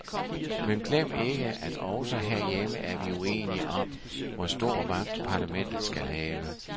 Men glem ikke, at også herhjemme er vi uenige om, hvor stor magt parlamentet skal have.